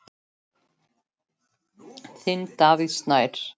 Þinn, Davíð Snær.